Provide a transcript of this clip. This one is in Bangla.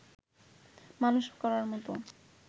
মানুষ করার মত